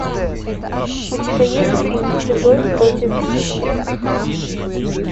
у тебя есть фильм чужой против хищника